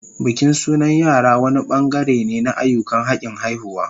Bikin sunan yara wani bangare ne na ayyukan hakin haihuwa